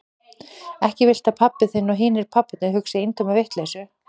Ekki viltu að pabbi þinn og hinir pabbarnir hugsi eintóma vitleysu?